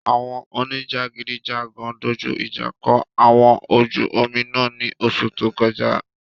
Awọn onijagidijagan doju ija kọ ọkọ ojú omi náà ni oṣu to kọja